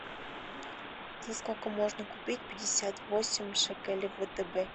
за сколько можно купить пятьдесят восемь шекелей в втб